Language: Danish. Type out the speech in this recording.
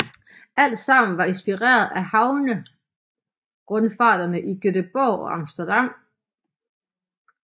Alt sammen var inspireret af havnerundfarterne i Gøteborg og Amsterdam